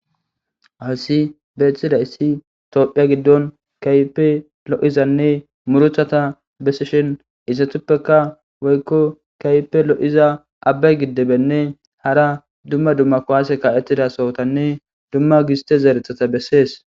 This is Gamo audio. Asi beeththida issi toophiya giddon kaype lo'izanne muruthata bessishin izatuppeka woykko kaype lo'iza abba giddebenne hara dumma dumma kowaase ka'ettida sohotanne dumma giste zeerethata bessees.